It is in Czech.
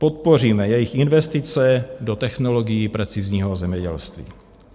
Podpoříme jejich investice do technologií precizního zemědělství.